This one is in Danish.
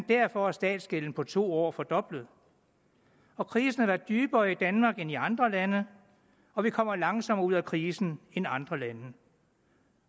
derfor er statsgælden på to år blevet fordoblet krisen har været dybere i danmark end i andre lande og vi kommer langsommere ud af krisen end andre lande